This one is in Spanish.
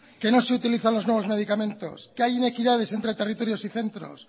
que no se utilizan los nuevos medicamentos que hay inequidades entre territorios y centros